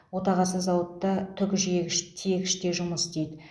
отағасы зауытта түк жиегіш тиегіште жұмыс істейді